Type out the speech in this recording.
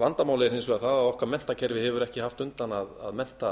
vandamálið er hins vegar það að okkar menntakerfi hefur ekki haft undan að mennta